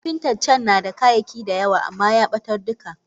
Kapinta can nada kayaki da yawa amma yabatar duka.